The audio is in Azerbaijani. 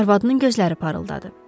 Arvadının gözləri parıldadı.